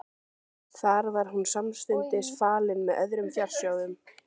Þar var hún samstundis falin með öðrum fjársjóðum.